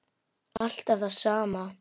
Alltaf það sama.